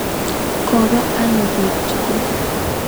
Kopa anok pik tukul?